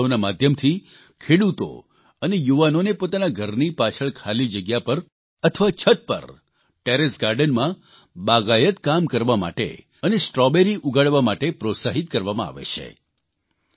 આ મહોત્સવના માધ્યમથી ખેડૂતો અને યુવાનોને પોતાના ઘરની પાછળ ખાલી જગ્યા પર અથવા છત પર ટેરેસ ગાર્ડનમાં બાગાયત કામ કરવા અને સ્ટ્રોબેરી ઉગાડવા માટે પ્રોત્સાહિત કરવામાં આવે છે